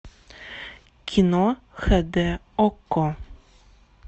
кино хд окко